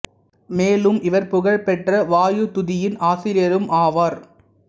மேலும் இவர் புகழ்பெற்ற வாயு துதி யின் ஆசிரியரும் ஆவார்